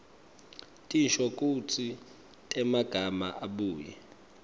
tinshokutsi temagama abuye